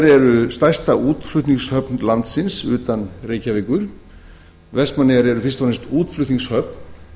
eru stærsta útflutningshöfn landsins utan reykjavíkur vestmannaeyjar eru fyrst og fremst útflutningshöfn